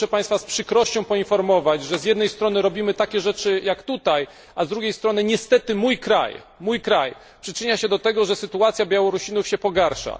Niestety muszę Państwa z przykrością poinformować, że z jednej strony robimy takie rzeczy jak tutaj, a z drugiej strony niestety mój kraj przyczynia się do tego, że sytuacja Białorusinów się pogarsza.